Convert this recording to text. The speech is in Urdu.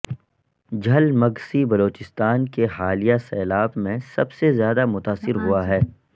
جھل مگسی بلوچستان کے حالیہ سیلاب میں سب سے زیادہ متاثر ہوا ہے